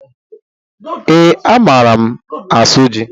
Ee, a maara m asụ ji